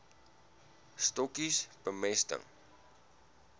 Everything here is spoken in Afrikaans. stokkies bemesting